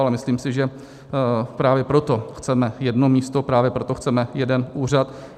Ale myslím si, že právě proto chceme jedno místo, právě proto chceme jeden úřad.